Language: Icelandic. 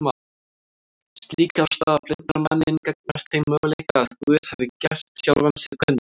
Slík afstaða blindar manninn gagnvart þeim möguleika að Guð hafi gert sjálfan sig kunnan